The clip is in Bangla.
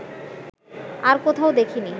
আর কোথাও দেখিনি